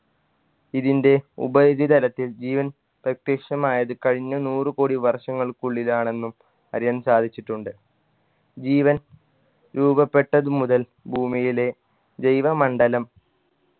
ഇതിൻറെ ഉപരിതലത്തിൽ ജീവൻ പ്രത്യക്ഷമായത് കഴിഞ്ഞ നൂറ് കോടി വർഷങ്ങൾക്കുള്ളിലാണെന്നും അറിയാൻ സാധിച്ചിട്ടുണ്ട് ജീവൻ രൂപപ്പെട്ടതു മുതൽ ഭൂമിയിലെ ജൈവ മണ്ഡലം